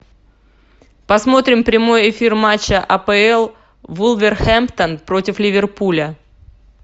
посмотрим прямой эфир матча апл вулверхэмптон против ливерпуля